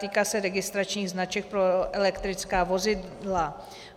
Týká se registračních značek pro elektrická vozidla.